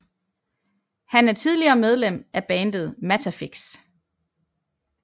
Han er tidligere medlem af bandet Mattafix